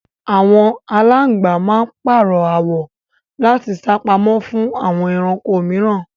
Àwọn aláǹgbá máa ń párọ́ àwọ̀ láti sá pamọ́ fún àwọn ẹranko mìíràn